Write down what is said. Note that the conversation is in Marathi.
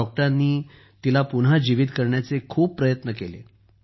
डॉक्टरांनी तिला पुन्हा जीवित करण्याचे खूप प्रयत्न केले